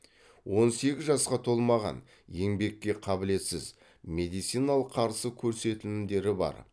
он сегіз жасқа толмаған еңбекке қабілетсіз медициналық қарсы көрсетілімдері бар